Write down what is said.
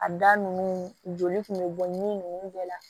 A da nunnu joli kun be bɔ ni nunnu bɛɛ la